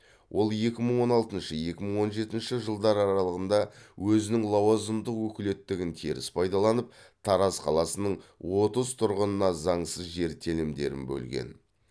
ол екі мың он алтыншы екі мың он жетінші жылдар аралығында өзінің лауазымдық өкілеттігін теріс пайдаланып тараз қаласының отыз тұрғынына заңсыз жер телімдерін бөлген